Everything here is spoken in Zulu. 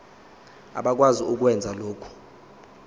abakwazi ukwenza lokhu